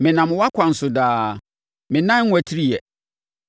Menam wʼakwan so daa; me nan nnwatiriiɛ.